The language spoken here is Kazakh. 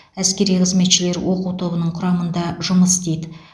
әскери қызметшілер оқу тобының құрамында жұмыс істейді